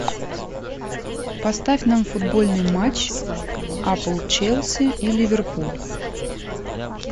поставь нам футбольный матч апл челси и ливерпуль